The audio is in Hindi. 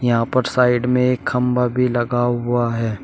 यहां पर साइड में एक खंभा भी लगा हुआ है।